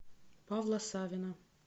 павла савина